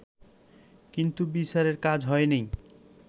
কিন্তু বিচারের কাজ হয়নি